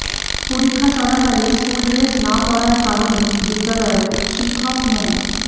পরীক্ষা চলাকালে school dress না পরার কারণে বিদ্যালয়ের শিক্ষক মো